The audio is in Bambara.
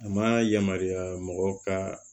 A ma yamaruya mɔgɔ ka